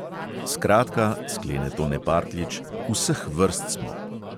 "Skratka," sklene tone partljič, "vseh vrst smo."